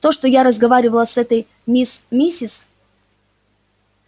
то что я разговаривала с этой мисс миссис